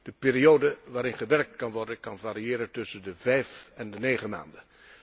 De periode waarin gewerkt kan worden, kan variëren tussen de vijf en de negen maanden.